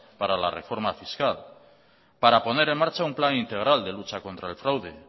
para la reforma fiscal para poner en marcha un plan integral de lucha contra el fraude